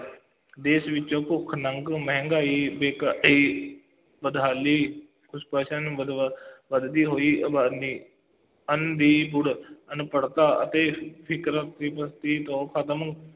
ਦੇਸ਼ ਵਿੱਚੋਂ ਭੁੱਖ-ਨੰਗ, ਮਹਿੰਗਾਈ ਬਦਹਾਲੀ ਵੱਧਦੀ ਹੋਈ ਆਬਾਦੀ, ਅੰਨ੍ਹ ਦੀ ਥੁੜ੍ਹ, ਅਨਪੜ੍ਹਤਾ ਅਤੇ ਫਿਕਰ ਖਤਮ